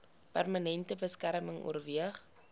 permanente beskerming oorweeg